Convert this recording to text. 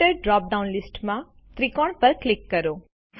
filter drop down લીસ્ટમાં ત્રિકોણ પર ક્લિક કરો